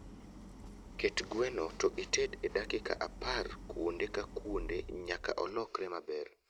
Ket gweno to ited e dakika apar kuonde ka kuonde nyaka olokre maber